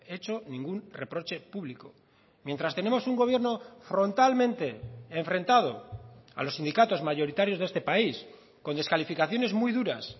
hecho ningún reproche público mientras tenemos un gobierno frontalmente enfrentado a los sindicatos mayoritarios de este país con descalificaciones muy duras